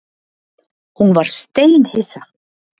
Hún var steinhissa.